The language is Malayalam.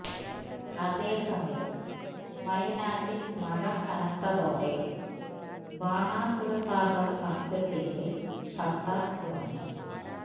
അതേസമയം വയനാട്ടിൽ മഴ കനത്തോടെ ബാണാസുര സാഗർ അണക്കെട്ടിന്റെ ഷട്ടർ തുറന്നു